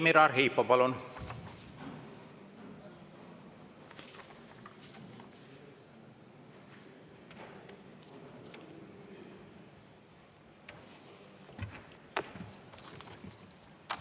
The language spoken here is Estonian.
Vladimir Arhipov, palun!